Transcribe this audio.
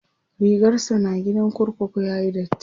rigarsa na gidan kurkuku yayi datti